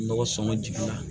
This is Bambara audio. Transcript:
Nɔgɔ sɔngɔ jigin na